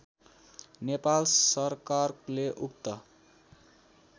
नेपाल सरकाले उक्त